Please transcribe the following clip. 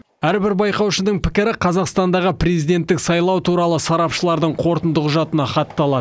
әрбір байқаушының пікірі қазақстандағы президенттік сайлау туралы сарапшылардың қорытынды құжатына хатталады